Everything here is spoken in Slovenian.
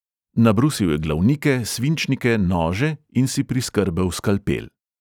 Nabrusil je glavnike, svinčnike, nože in si priskrbel skalpel.